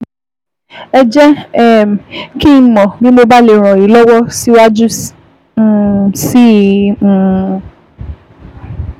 Ẹ jẹ́ um kí n mọ̀ bí mo bá lè ràn yín lọ́wọ́ síwájú um sí um i